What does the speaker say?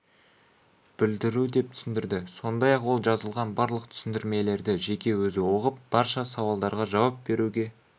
білдіру деп түсіндірді сондай-ақ ол жазылған барлық түсіндірмелерді жеке өзі оқып барша сауалдарға жауап беруге